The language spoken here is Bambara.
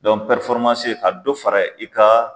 bi dɔ fara i ka